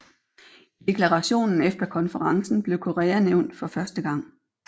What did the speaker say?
I deklarationen efter konferencen blev Korea nævnt for første gang